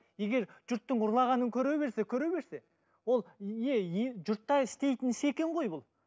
егер жұрттың ұрлағанын көре берсе көре берсе ол еее жұрттар істейтін іс екен ғой бұл